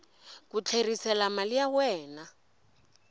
ku tlherisela mali ya wena